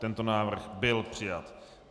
Tento návrh byl přijat.